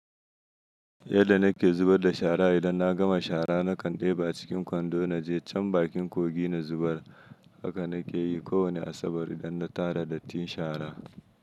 Yadda na ke zubar da shara, idan na gama shara na kan ɗeba cikin kwando naje can bakin kogi na zubar. Haka nake yi kowane Asabar idan na tara dattin shara.